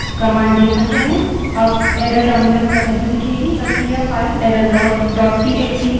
अब error terminal पर नहीं दिखेगी बल्कि यह file errorlog dot TXT file errorlog txt में लिखी होगी